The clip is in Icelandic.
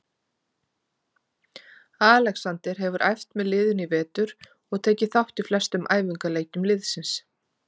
Alexander hefur æft með liðinu í vetur og tekið þátt í flestum æfingaleikjum liðsins.